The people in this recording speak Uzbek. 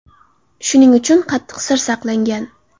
Shuning uchun qattiq sir saqlangan.